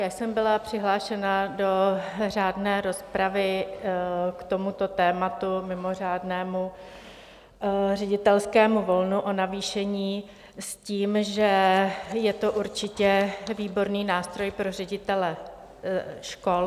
Já jsem byla přihlášena do řádné rozpravy k tomuto tématu, mimořádnému ředitelskému volnu, o navýšení, s tím, že je to určitě výborný nástroj pro ředitele škol.